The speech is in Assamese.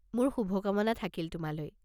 মোৰ শুভকামনা থাকিল তোমালৈ।